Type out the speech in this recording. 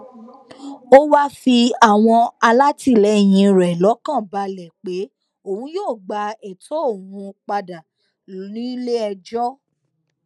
ó wáá fi àwọn alátìlẹyìn rẹ lọkàn balẹ pé òun yóò gba ètò òun padà níléẹjọ